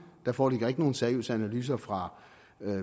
der foreligger ikke nogen seriøse analyser fra